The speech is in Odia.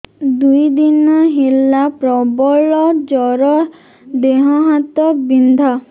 ଦୁଇ ଦିନ ହେଲା ପ୍ରବଳ ଜର ଦେହ ହାତ ବିନ୍ଧା